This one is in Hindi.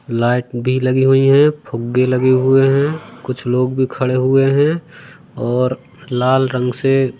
लाइट भी लगी हुई है फुगे लगे हुए हैं कुछ लोग भी खड़े हुए हैं और लाल रंग से--